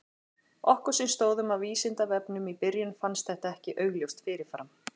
Okkur sem stóðum að Vísindavefnum í byrjun fannst þetta ekki augljóst fyrir fram.